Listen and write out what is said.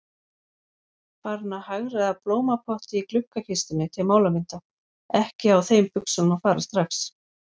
Farin að hagræða blómapotti í gluggakistunni til málamynda, ekki á þeim buxunum að fara strax.